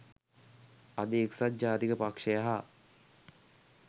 අද එක්සත් ජාතික පක්ෂය හා